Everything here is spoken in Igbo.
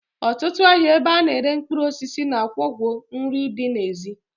Otutu ahia ebe ana ere mkpuruosisi na akwokwo nri di na ezi.